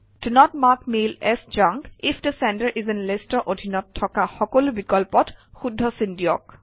the not mark mail as junk if the sender is in list অৰ অধীনত থকা সকলো বিকল্পত শুদ্ধ চিন দিয়ক